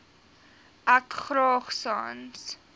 ek graag sans